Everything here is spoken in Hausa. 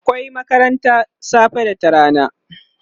akwai makarantan safe da ta rana